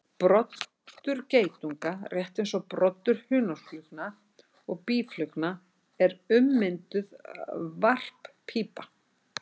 Broddur geitunga, rétt eins og broddur hunangsflugna og býflugna, er ummynduð varppípa.